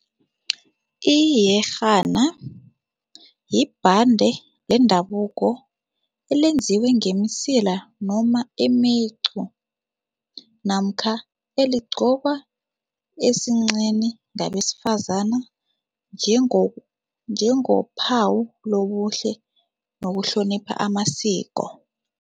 Iyerhana yibhande lendabuko elenziwe ngemisila noma imicu namkha eligqokwa esinqeni ngabesifazana njengophawu lobuhle nokuhlonipha amasiko.